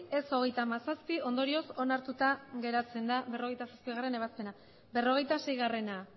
ez hogeita hamazazpi ondorioz onartuta geratzen da berrogeita bostgarrena ebazpena berrogeita seigarrena